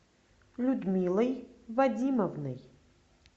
людмилой вадимовной